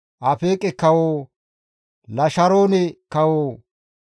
Afeeqe kawo, Lasharoone kawo,